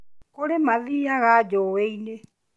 Kũrĩ mathiiaga njũi-inĩ